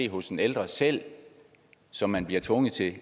hos den ældre selv som man bliver tvunget til at